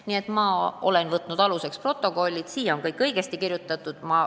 Ma olen aluseks võtnud istungite protokollid, seal on kõik õigesti kirjutatud.